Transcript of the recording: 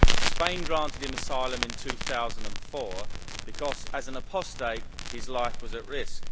Spain granted him asylum in 2004 because as an apostate his life was at risk.